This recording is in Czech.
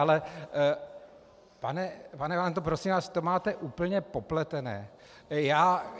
Ale pane Valento, prosím vás, to máte úplně popletené.